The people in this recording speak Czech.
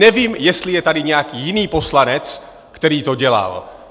Nevím, jestli je tady nějaký jiný poslanec, který to dělal!